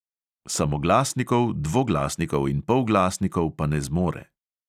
Samoglasnikov, dvoglasnikov in polglasnikov pa ne zmore.